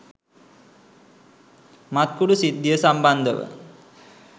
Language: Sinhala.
මත්කුඩු සිද්ධිය සම්බන්ධව